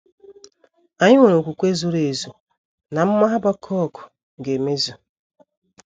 Anyị nwere okwukwe zuru ezu na amụma Habakuk ga - emezu.